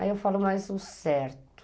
Aí eu falo mais o certo.